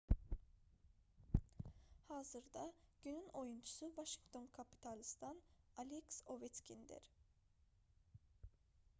hazırda günün oyunçusu vaşinqton kapitalsdan aleks oveçkindir